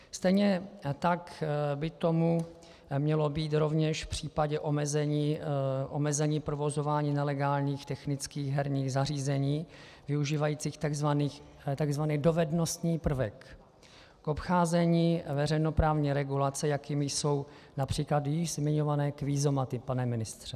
Stejně tak by tomu mělo být rovněž v případě omezení provozování nelegálních technických herních zařízení využívajících tzv. dovednostní prvek k obcházení veřejnoprávní regulace, jakými jsou například již zmiňované kvízomaty, pane ministře.